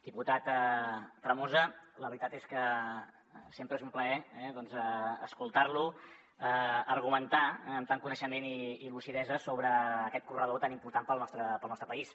diputat tremosa la veritat és que sempre és un plaer eh doncs escoltar lo argumentar amb tant coneixement i lucidesa sobre aquest corredor tan important per al nostre país